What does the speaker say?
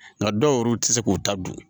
Nka dɔw yɛrɛw tɛ se k'u ta dun